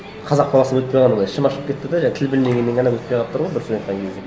қазақ баласы өтпей қалғанына ішім ашып кетті де тіл білмегеннен ғана өтпей қалып тұр ғой бір сөзбен айтқан кезде